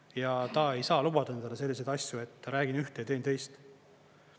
Ja ta ei saa lubada endale selliseid asju, et räägin ühte ja teen teist.